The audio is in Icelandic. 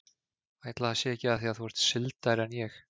Ætli það sé ekki af því að þú ert sigldari en ég.